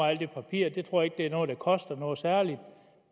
af alt det papir jeg tror ikke det er noget der koster noget særligt